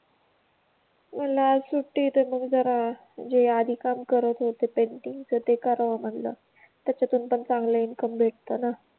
म्हणलं आज सुट्टी ए तर मग जरा जे आधी काम करत होते, पेन्टिंगच ते करावं म्हणलं त्यातून पण चांगलं इनकम भेटत ना